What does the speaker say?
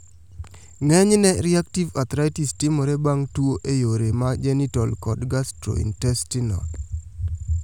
Ng'enyne reactive arthritis timore bang' tuo e yore ma genital kod gastrointestinal